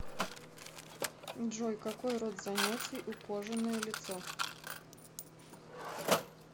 джой какой род занятий у кожаное лицо